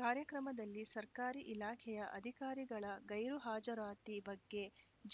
ಕಾರ್ಯಕ್ರಮದಲ್ಲಿ ಸರ್ಕಾರಿ ಇಲಾಖೆಯ ಅಧಿಕಾರಿಗಳ ಗೈರು ಹಾಜರಾತಿ ಬಗ್ಗೆ